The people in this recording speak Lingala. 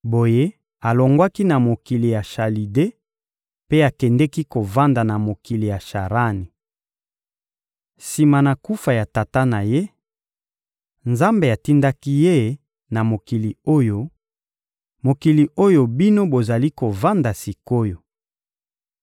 Boye, alongwaki na mokili ya Chalide mpe akendeki kovanda na mokili ya Sharani. Sima na kufa ya tata na ye, Nzambe atindaki ye na mokili oyo, mokili oyo bino bozali kovanda sik’oyo.